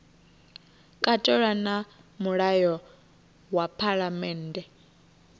katelwa na mulayo wa phalammennde